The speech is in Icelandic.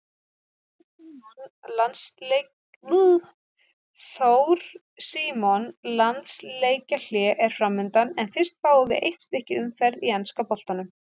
Þór Símon Landsleikjahlé er framundan en fyrst fáum við eitt stykki umferð í enska boltanum.